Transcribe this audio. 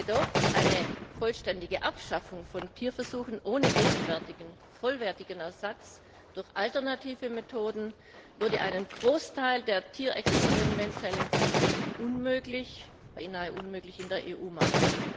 Doch eine vollständige Abschaffung von Tierversuchen ohne gegenwärtig verfügbaren vollwertigen Ersatz durch alternative Methoden würde einen Großteil der tierexperimentellen Forschung in der EU beinahe unmöglich machen.